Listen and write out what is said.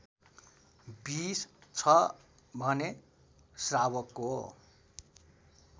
२० छ भने श्रावकको